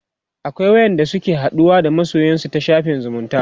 akwai wa ƴan da suke haɗuwa da masoyansu ta shafin zumunta